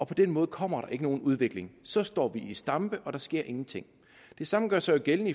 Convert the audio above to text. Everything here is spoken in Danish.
på den måde kommer der ikke nogen udvikling så står vi i stampe og der sker ingenting det samme gør sig gældende